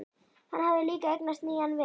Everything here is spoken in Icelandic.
Hann hafði líka eignast nýjan vin.